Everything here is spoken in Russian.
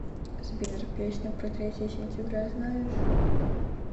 сбер песню про третье сентября знаешь